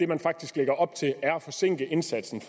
man faktisk lægger op til er at forsinke indsatsen